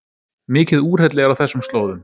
Mikið úrhelli er á þessum slóðum